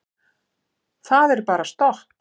Það er bara stopp.